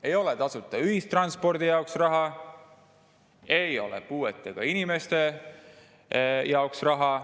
Ei ole tasuta ühistranspordi jaoks raha, ei ole puuetega inimeste jaoks raha.